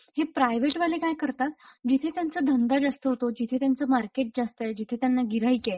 हे प्रायव्हेट वाले काय करतात जिथे त्यांचा धंदा जास्त होतो जिथे त्यांचं मार्केट जास्तय जिथे त्यांना गिऱ्हाईक आहे;